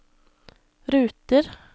ruter